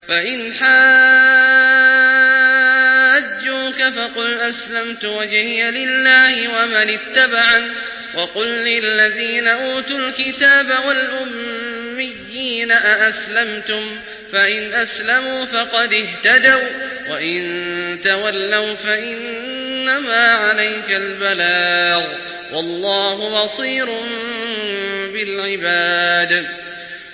فَإِنْ حَاجُّوكَ فَقُلْ أَسْلَمْتُ وَجْهِيَ لِلَّهِ وَمَنِ اتَّبَعَنِ ۗ وَقُل لِّلَّذِينَ أُوتُوا الْكِتَابَ وَالْأُمِّيِّينَ أَأَسْلَمْتُمْ ۚ فَإِنْ أَسْلَمُوا فَقَدِ اهْتَدَوا ۖ وَّإِن تَوَلَّوْا فَإِنَّمَا عَلَيْكَ الْبَلَاغُ ۗ وَاللَّهُ بَصِيرٌ بِالْعِبَادِ